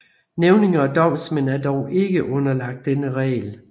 Nævninge og domsmænd er dog ikke underlagt denne regel